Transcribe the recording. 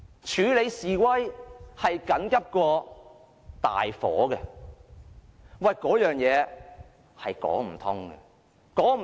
處理示威較大火緊急，這是說不通的。